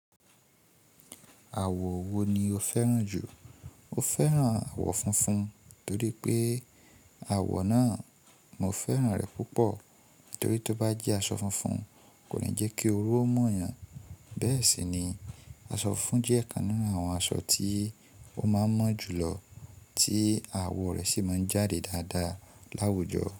Àwọ̀ wo ni o fẹ́ràn jù? O fẹ́ràn àwọ̀ funfun torí pé àwọ̀ náà, mo fẹ́ràn rẹ púpọ̀ torí tó bá jẹ́ aṣọ funfun kò le jẹ́ kí oru ó mu yàn. Bẹ́ẹ̀ sì ni aṣọ funfun jẹ́ ọ̀kan nínú àwọn aṣọ tí ó máa ń mọ́ jù lọ tí àwọ̀ rẹ sì máa ń jáde dáadáa láwùjọ.